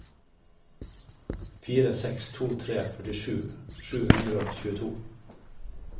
fire seks to tre førtisju sju hundre og tjueto